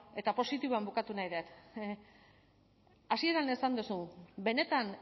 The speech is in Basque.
eta positiboan bukatu nahi dut hasieran esan duzu benetan